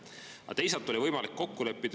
Aga teisalt oli võimalik kokku leppida.